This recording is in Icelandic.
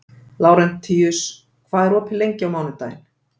Lárentíus, hvað er opið lengi á mánudaginn?